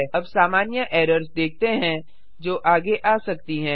अब सामान्य एरर्स देखते हैं जो आगे आ सकती हैं